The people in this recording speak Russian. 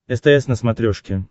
стс на смотрешке